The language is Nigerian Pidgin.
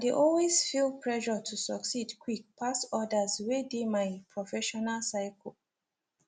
i dey always feel pressure to succeed quick pass others wey dey my professional circle